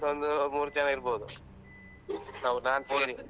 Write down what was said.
ನಮ್ದೊಂದು ಮೂರ್ ಜನ ಇರ್ಬೋದು ನಾನ್ಸ ಸೇರಿ.